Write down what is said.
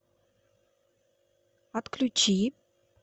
отключи